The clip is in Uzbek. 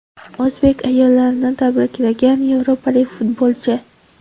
O‘zbek ayollarini tabriklagan yevropalik futbolchi.